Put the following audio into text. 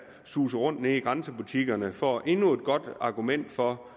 suser rundt nede i grænsebutikkerne får endnu et godt argument for